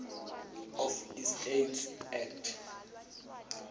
of estates act